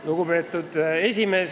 Lugupeetud esimees!